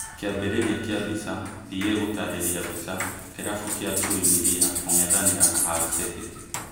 Kĩambĩrĩria kĩa mbica, PA gũtarĩria mbica, kĩrabu kĩa Chui Milia kũng'ethanĩra na Hull City